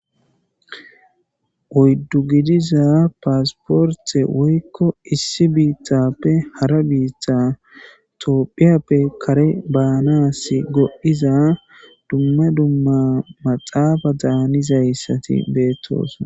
oyddu gidiza paasporte woykko issi biithappe hara biitha toopphiyappe kare baanasi godhdhiza dumma dumma maxaafa daanizayssati beettosna